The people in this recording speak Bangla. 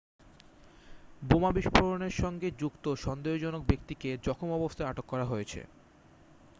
বোমা বিস্ফোরণের সঙ্গে যুক্ত সন্দেহজনক ব্যক্তিকে জখম অবস্থায় আটক করা হয়েছে